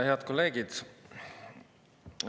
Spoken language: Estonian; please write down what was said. Head kolleegid!